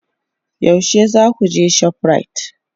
Yaushe za ku je shoprite?